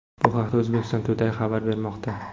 Bu haqda Uzbekistan Today xabar bermoqda .